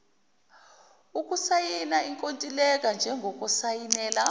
ukusayina ikontileka njengosayinela